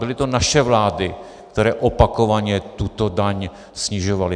Byly to naše vlády, které opakovaně tuto daň snižovaly.